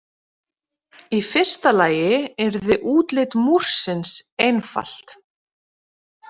Í fyrsta lagi yrði útlit Múrsins einfalt.